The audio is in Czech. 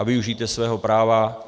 A využijte svého práva.